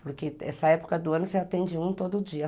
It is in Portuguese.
Porque essa época do ano você atende um todo dia.